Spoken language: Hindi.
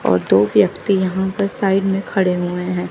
और दो व्यक्ति यहां पर साइड में खड़े हुए है।